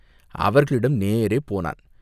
அவர்களிடம் நேரே போனான்.